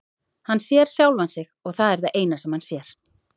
Hann sér sjálfan sig og það er það eina sem hann sér.